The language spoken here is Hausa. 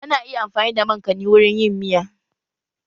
Ana iya amfani da mankani wurin yin miya